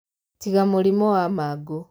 Tiga mũrimũ wa mangũ